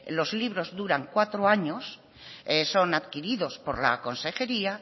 los libros duran cuatro años son adquiridos por la consejería